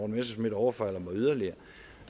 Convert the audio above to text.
messerschmidt overfalder mig yderligere